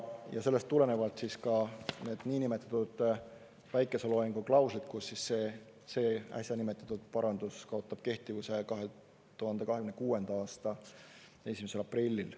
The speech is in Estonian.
Ja sellest tulenevad ka niinimetatud päikeseloojangu klauslid, kus see äsja nimetatud parandus kaotab kehtivuse 2026. aasta 1. aprillil.